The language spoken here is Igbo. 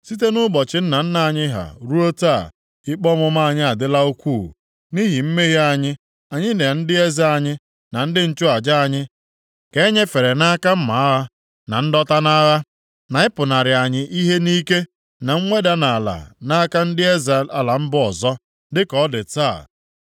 Site nʼụbọchị nna nna anyị ha ruo taa, ikpe ọmụma anyị adịla ukwuu. Nʼihi mmehie anyị, anyị na ndị eze anyị, na ndị nchụaja anyị ka enyefere nʼaka mma agha, na ndọta nʼagha, na ịpụnara anyị ihe nʼike na nweda nʼala nʼaka ndị eze ala mba ọzọ, dịka ọ dị taa.